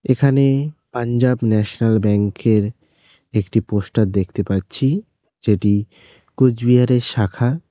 এখানে পাঞ্জাব ন্যাশনাল ব্যাঙ্কের একটি পোস্টার দেখতে পাচ্ছি যেটি কুচবিহারের শাখা।